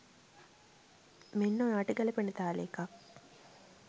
මෙන්න ඔයාට ගැලපෙන තාලේ එකක්.